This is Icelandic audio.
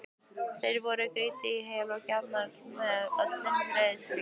Þeir voru grýttir í hel og grafnir með öllum reiðtygjum.